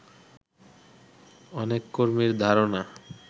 অনেক কর্মীর ধারণা